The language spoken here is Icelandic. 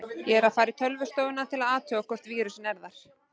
Ég er að fara í tölvustofuna til að athuga hvort vírusinn er þar.